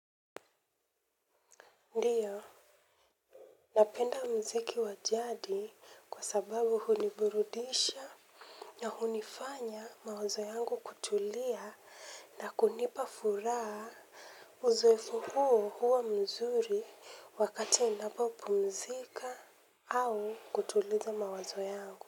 Ndio, napenda mziki wa jadi kwa sababu huniburudisha na hunifanya mawazo yangu kutulia na kunipa furaha uzoevu huu huwa mzuri wakati ninapo pumzika au kutuliza mawazo yangu.